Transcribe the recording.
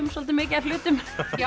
soldið mikið af hlutum